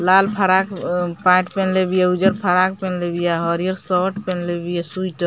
लाल frock अ pant पेन्हले बिया उजर फ्राक पेन्हले बिया हरियर शर्ट पेन्हले बिया सुइटर --